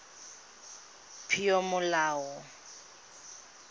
peomolao